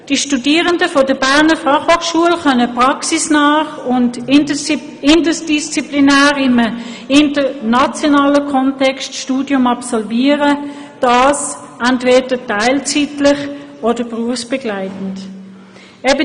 Die Studierenden der Berner Fachhochschule können ihr Studium praxisnah und interdisziplinär in einem internationalen Kontext absolvieren, dies entweder teilzeitlich oder berufsbegleitend.